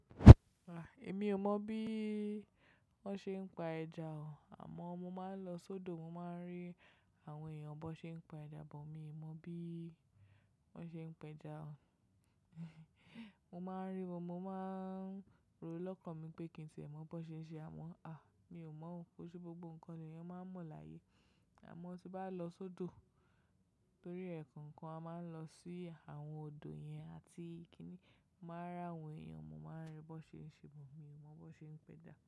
Ah! Èmi ò mọ̀n bí wọ́n ṣe ń pa ẹja o. Àmọ́n mo máa ń lọ sódò, mo máa ń rí àwọn èèyàn bọ́ ṣe ń pa ẹja, but mi ò mọ̀ bí wọ́n ṣe ń pẹja o. Mo máa ń rí wọn, mo máa ń rò lọ́kàn mi pé kí tie mon bọ́ ṣe ń ṣe, àmọ́ ah! Mi ò mọ̀ ó. Ko ṣe gbogbo ǹkan l'eyan máa ń mọ̀ láyé. Àmọ́ tí bá lọ sódò torí ẹ́kan ǹkan, a máa ń lọ sí àwọn odò yẹn àti kíní. Màá rí àwọn èèyàn, mo máa ń rí bon ṣe ń ṣe, but mi ò mọ̀ bọ́ ṣe ń pẹja.